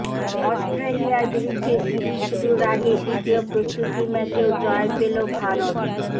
অস্ট্রেলিয়ার বিরুদ্ধে সিরিজ শুরুর আগে দ্বিতীয় প্রস্তুতি ম্যাচেও জয় পেল ভারত